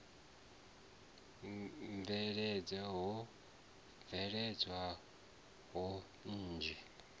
bveledzwa ho bveledzwa mbuno nnzhi